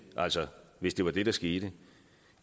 altså hvis det var det der skete